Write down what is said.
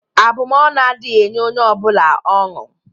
Abụmọnụ adịghị enye onye ọ bụla ọnụ.